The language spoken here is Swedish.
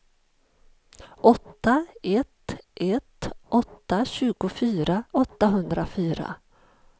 åtta ett ett åtta tjugofyra åttahundrafyra